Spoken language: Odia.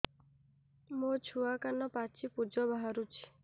ମୋ ଛୁଆ କାନ ପାଚି ପୂଜ ବାହାରୁଚି